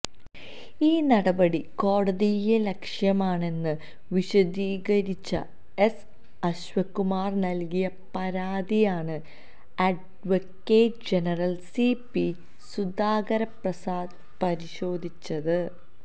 ഈ നടപടി കോടതിയലക്ഷ്യമാണെന്ന് വിശദീകരിച്ച് എസ് അശ്വകുമാർ നൽകിയ പരാതിയാണ് advocate general C P Sudhakaraprasad പരിശോധിച്ചത്